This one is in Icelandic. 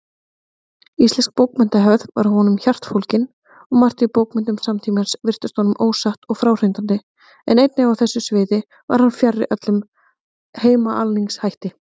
Íslensk bókmenntahefð var honum hjartfólgin, og margt í bókmenntum samtímans virtist honum ósatt og fráhrindandi, en einnig á þessu sviði var hann fjarri öllum heimaalningshætti.